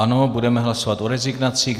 Ano, budeme hlasovat o rezignacích.